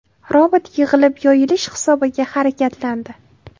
Robot yig‘ilib-yoyilish hisobiga harakatlandi.